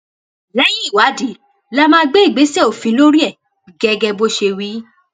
lẹyìn ìwádìí la máa gbé ìgbésẹ òfin lórí ẹ gẹgẹ bó ṣe wí